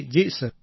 જી sir